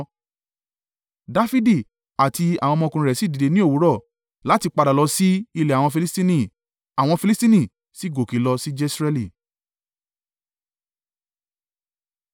Dafidi àti àwọn ọmọkùnrin rẹ̀ sì dìde ní òwúrọ̀ láti padà lọ sí ilẹ̀ àwọn Filistini. Àwọn Filistini sì gòkè lọ sí Jesreeli.